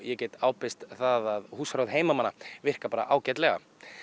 get ábyrgst það að húsráð heimamanna virka bara ágætlega